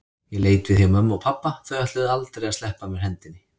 Ég leit við hjá mömmu og pabba, þau ætluðu aldrei að sleppa af mér hendinni.